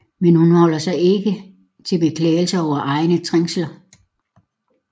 Men hun holder sig ikke til beklagelser over egne trængsler